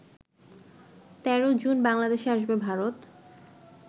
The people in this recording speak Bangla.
১৩ জুন বাংলাদেশে আসবে ভারত